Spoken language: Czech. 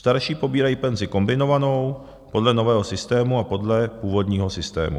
Starší pobírají penzi kombinovanou podle nového systému a podle původního systému.